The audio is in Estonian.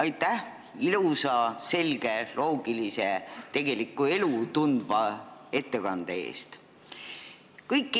Aitäh ilusa, selge, loogilise ja tegelikku elu tundva ettekande eest!